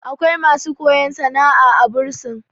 akwai masu koya sana'a a a bursin